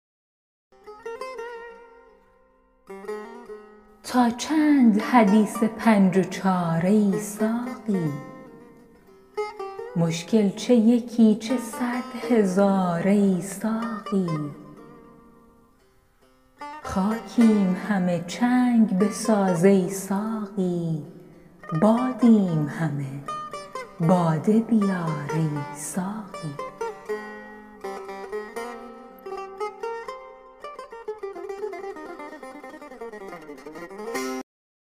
تا چند حدیث پنج و چار ای ساقی مشکل چه یکی چه صد هزار ای ساقی خاکیم همه چنگ بساز ای ساقی بادیم همه باده بیار ای ساقی